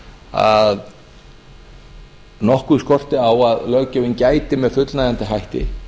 að nokkuð skorti á að löggjöfin gæti með fullnægjandi hætti